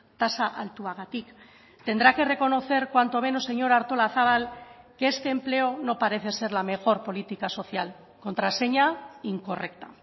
tasa altuagatik tendrá que reconocer cuanto menos señora artolazabal que este empleo no parece ser la mejor política social contraseña incorrecta